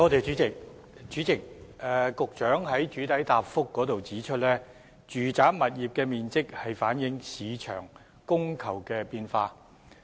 主席，局長在主體答覆中指出，住宅物業的面積反映市場的供求變化。